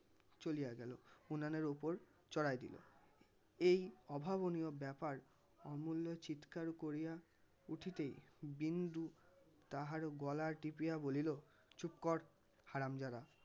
চলিয়া গেল. উনানের ওপর চড়ায়ে দিল. এই অভাবনীয় ব্যাপার অমুল্য চিৎকার করিয়া উঠিতেই বিন্দু তাহার গলা টিপিয়া বলিল চুপ কর হারামজাদা